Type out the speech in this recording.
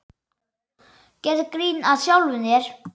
Gerðu grín að sjálfum þér.